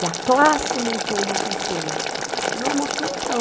E a classe montou uma pecinha, que nós mostramos para